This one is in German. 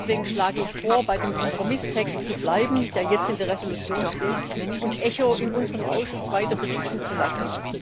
Deswegen schlage ich vor, bei dem Kompromisstext zu bleiben, der jetzt in der Entschließung steht, und ECHO in unserem Ausschuss weiter berichten zu lassen.